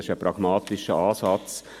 Dies ist ein pragmatischer Ansatz.